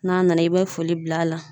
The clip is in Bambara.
N'a nana, i bɛ foli bil'a la.